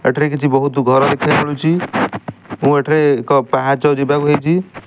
ଏଠାରେ କିଛି ବହୁତୁ ଘର ଦେଖିବାକୁ ମିଳୁଚି ଓ ଏଠାରେ ଏକ ପାହାଚ ଯିବାକୁ ହେଇଚି।